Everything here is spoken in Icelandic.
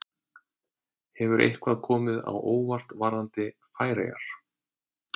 Hefur eitthvað komið á óvart varðandi Færeyjar?